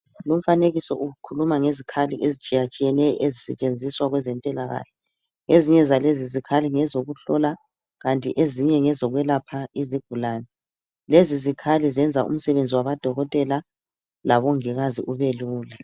Lumfanekiso ukhuluma ngezikhali etshiya tshiyeneyo ezisetshenziswa kwezempilakahle ezinye zalezi zikhali ngezokuhlola kanti ezinye ngezokwelapha izigulane lezi zikhali zenza umsebenzi wabo dokotela labongikazi ubelula.